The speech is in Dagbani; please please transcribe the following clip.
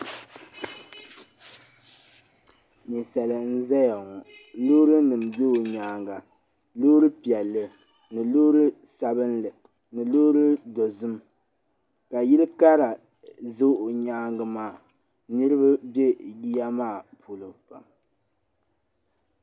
Ninsali. n ʒɛyaŋɔ. lɔɔri nim n bɛ ɔ nyaaŋa, lɔɔri piɛli ni lɔɔri sabinli ni lɔɔri dozim, ka yili kara za ɔ nyaaŋ maa niribi be yiya maa pɔlɔ pam, .